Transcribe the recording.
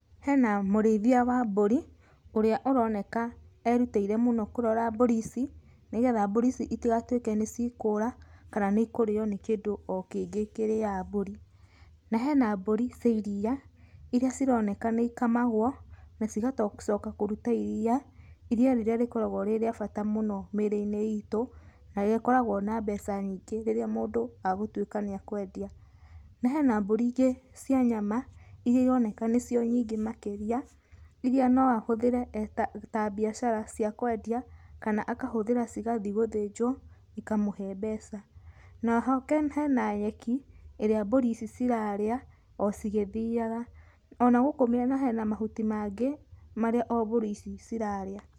Hena mũrĩithia wa mbũri ũrĩa ũroneka erutĩire mũno kũrora mbũri ici, nĩgetha mbũri ici itigatuĩke nĩcikũra kana nĩ ikũrĩywo nĩ kĩndũ o kĩngĩ kĩrĩaga mbũri. Na hena mbũri cia iri, iria cironeka nĩ ikamagwo na cigacoka kũruta iria, iria rĩrĩa rĩkoragwo rĩ rĩa bata mũno mĩrĩ-inĩ itũ, na rĩkoragwo na mbeca nyingĩ rĩrĩa mũndũ agũtuĩka nĩakwendia. Na hena mbũri ingĩ cia nyama iria ironeka nĩcio nyingĩ makĩria, iria no ahũthĩre eta, ta biacara cia kwendia kana akahũthĩra cigathiĩ gũthĩnjwo ikamũhe mbeca. Na oho hena nyeki ĩrĩa mbũri ici cirarĩa o cigĩthiaga. Ona gũkũ mĩena kwĩna mahuti mangĩ marĩa o mbũri ici cirarĩa.